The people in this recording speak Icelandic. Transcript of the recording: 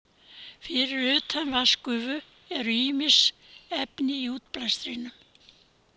Fyrir utan vatnsgufu eru ýmis efni í útblæstrinum.